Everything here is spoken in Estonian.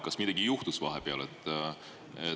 Kas midagi juhtus vahepeal?